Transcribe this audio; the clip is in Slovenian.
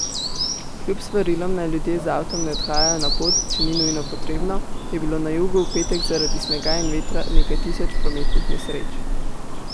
Kljub svarilom, naj ljudje z avtom ne odhajajo na pot, če ni nujno potrebno, je bilo na jugu v petek zaradi snega in vetra nekaj tisoč prometnih nesreč.